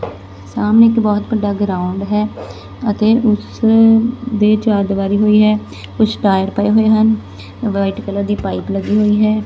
ਸਾਹਮਣੇ ਇੱਕ ਬਹੁਤ ਵੱਡਾ ਗਰਾਉਂਡ ਹੈ ਅਤੇ ਉਸ ਦੇ ਚਾਰ ਦੀਵਾਰੀ ਹੋਈ ਹੈ ਕੁਛ ਟਾਇਰ ਪਏ ਹੋਏ ਹਨ ਵਾਈਟ ਕਲਰ ਦੀ ਪਾਈਪ ਲੱਗੀ ਹੋਈ ਹੈ।